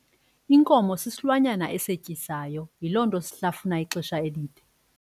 Inkomo sisilwanyana esetyisayo yiloo nto shlafuna ixesha elide.